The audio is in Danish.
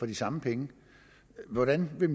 de samme penge hvordan vil